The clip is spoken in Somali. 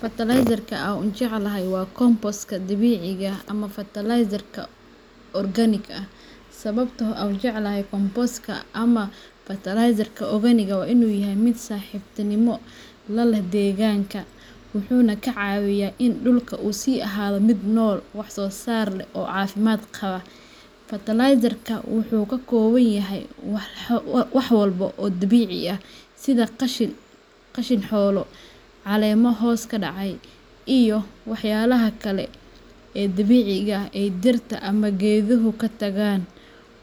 Fertilizerka aan ugu jecelahay waa compostka dabiiciga ah ama fertilizerka organika ah. Sababta aan u jeclahay compostka ama fertilizerka organika waa in uu yahay mid saaxiibtinimo la leh deegaanka, wuxuuna ka caawiyaa in dhulka uu sii ahaado mid nool, wax soo saar leh, oo caafimaad qaba. Fertilizerkan wuxuu ka kooban yahay walxo dabiici ah sida qashin xoolo, caleemo hoos ka dhacay, iyo walxaha kale ee dabiiciga ah ee ay dhirta ama geeduhu ka tagaan.